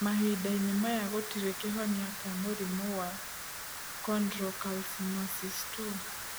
Mahinda-inĩ maya gũtirĩ kĩhonia kĩa mũrimũ wa chondrocalcinosis 2.